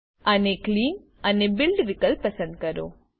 અને ક્લીન અને બિલ્ડ વિકલ્પ પસંદ કરો